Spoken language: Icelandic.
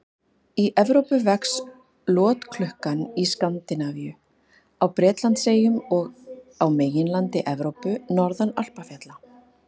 Í Evrópu vex lotklukkan í Skandinavíu, á Bretlandseyjum og á meginlandi Evrópu, norðan Alpafjalla.